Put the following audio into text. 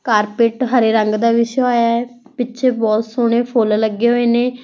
Carpet ਹਰੇ ਰੰਗ ਦਾ ਵਿਛਿਆ ਹੋਇਆ ਹੈ ਪਿੱਛੇ ਬਹੁਤ ਸੋਹਣੇ ਫੁੱਲ ਲੱਗੇ ਹੋਏ ਨੇ।